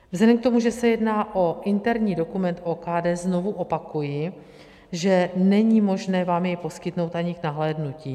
Vzhledem k tomu, že se jedná o interní dokument OKD, znovu opakuji, že není možné vám jej poskytnout ani k nahlédnutí.